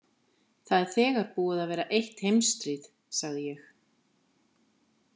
Það er þegar búið að vera eitt heimsstríð, sagði ég.